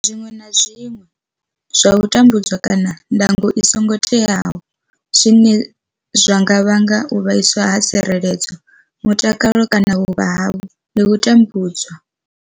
zwiṅwe na zwiṅwe zwa u tambudza kana ndango i songo teaho zwine zwa nga vhanga u vhaiswa ha tsireledzo, mutakalo kana vhuvha havho ndi u tambudzwa.